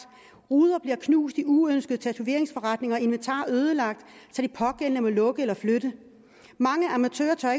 ruder bliver knust i uønskede tatoveringsforretninger og inventar ødelagt så de pågældende må lukke eller flytte mange amatører tør